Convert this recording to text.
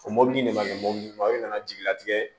O mɔbili de ma kɛ mɔbili ma i nana jigilatigɛ